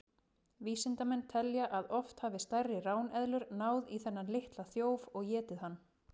Vísindamenn telja að oft hafi stærri ráneðlur náð í þennan litla þjóf og étið hann.